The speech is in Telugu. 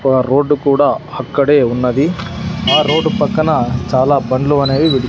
ఒగ రోడ్డు కూడా అక్కడే ఉన్నది ఆ రోడ్డు పక్కన చాలా బండ్లు అనేవి--